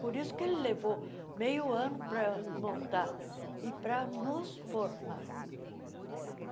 Por isso que ele levou meio ano para montar e para nos formar.